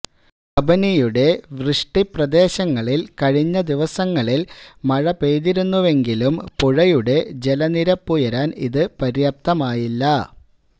കബനിയുടെ വൃഷ്ടിപ്രദേശങ്ങളില് കഴിഞ്ഞ ദിവസങ്ങളില് മഴ പെയ്തിരുന്നുവെങ്കിലും പുഴയുടെ ജലനിരപ്പുയരാന് ഇത് പര്യാപ്തമായില്ല